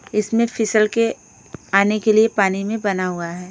इसमें फिसल के आने के लिए पानी में बना हुआ है।